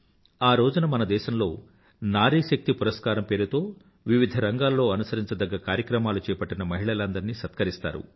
ఆ రోజున మన దేశంలో నారీశక్తి పురస్కారం పేరుతో వివిధరంగాల్లో అనుసరించదగ్గ కార్యక్రమాలు చేపట్టిన మహిళలందరినీ సత్కరిస్తారు